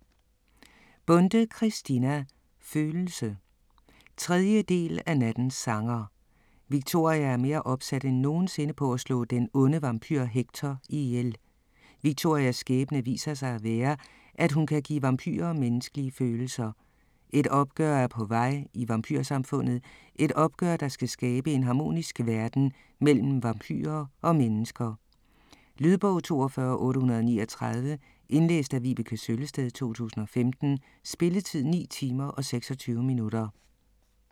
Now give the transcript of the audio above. Bonde, Christina: Følelse 3. del af Nattens sanger. Victoria er mere opsat end nogensinde, på at slå den onde vampyr Hector ihjel. Victorias skæbne viser sig at være, at hun kan give vampyrer menneskelige følelser. Et opgør er på vej i vampyrsamfundet, et opgør der skal skabe en harmonisk verden mellem vampyrer og mennesker. Lydbog 42839 Indlæst af Vibeke Søllested, 2015. Spilletid: 9 timer, 26 minutter.